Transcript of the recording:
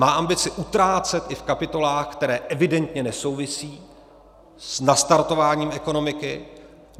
Má ambici utrácet i v kapitolách, které evidentně nesouvisí s nastartováním ekonomiky.